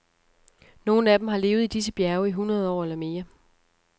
Nogle af dem har levet i disse bjerge i hundrede år eller mere.